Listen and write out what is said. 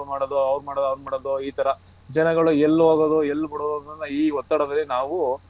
ಅವರು ಮಾಡೋದು ಇದ್ ಮಾಡೋದು ಈ ತರ ಜನಗಳು ಎಲ್ಲೋಗುದು ಎಲ್ ಬಿಡೋದು ಈ ಒತ್ತಡದಲ್ಲಿ ನಾವು.